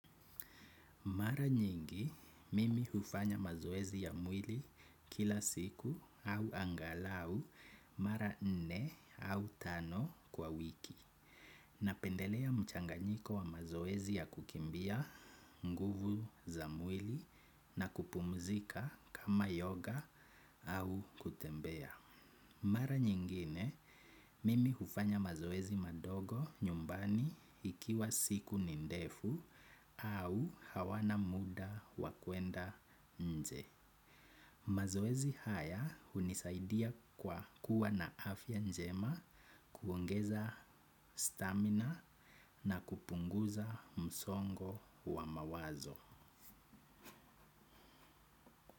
Mara nyingi, mimi hufanya mazoezi ya mwili kila siku au angalau mara nne au tano kwa wiki. Napendelea mchanganyiko wa mazoezi ya kukimbia nguvu za mwili na kupumzika kama yoga au kutembea. Mara nyingine, mimi hufanya mazoezi madogo nyumbani ikiwa siku ni ndefu au hawana muda wa kwenda nje. Mazoezi haya hunisaidia kwa kuwa na afya njema, kuongeza stamina na kupunguza msongo wa mawazo.